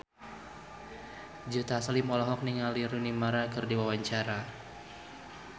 Joe Taslim olohok ningali Rooney Mara keur diwawancara